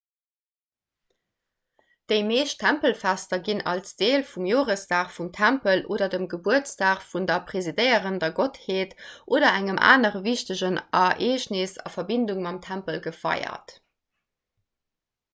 déi meescht tempelfester ginn als deel vum joresdag vum tempel oder dem gebuertsdag vun der presidéierender gottheet oder engem anere wichtegen ereegnes a verbindung mam tempel gefeiert